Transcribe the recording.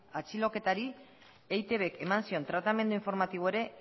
atxiloketari eitbk eman zion tratamendu informatiboa ere